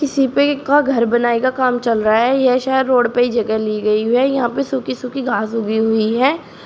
इसी पे का घर बनाये का काम चल रहा है येह शायद रोड पे ही जगह ली गई हुई है यहां पे सूखी सूखी घास उगी हुई है।